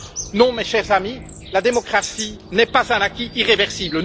Non, mes chers amis, la démocratie n'est pas un acquis irréversible.